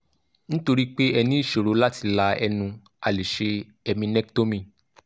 nítorí pé ẹ ní ìṣòro láti la ẹnu a lè ṣe eminectomy